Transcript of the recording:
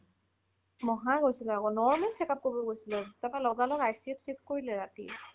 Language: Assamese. মহা গৈছিলে আকৌ normal য়ে check up কৰিব গৈছিলে তাৰ পৰা লগালগ ICU ত shift কৰি দিলে ৰাতি